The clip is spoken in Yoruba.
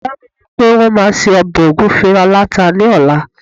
ìyá mi ni pe won ma se obe ogunfe alata ni ọla